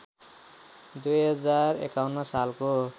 २०५१ सालको